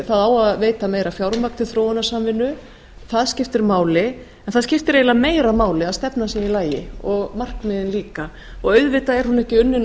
það á að veita meira fjármagni til þróunarsamvinnu það skiptir máli en það skiptir eiginlega meira máli að stefnan sé í lagi og markmiðin líka auðvitað er hún ekki unnin